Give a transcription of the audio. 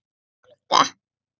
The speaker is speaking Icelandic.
Gekk út að glugga.